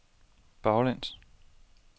baglæns